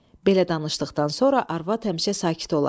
Belə danışdıqdan sonra arvad həmişə sakit olardı.